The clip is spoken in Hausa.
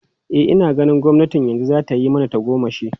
E, ina ganin gwamnatin yanzu za ta yi mana tagomashi.